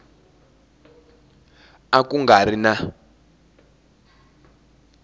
a ku nga ri na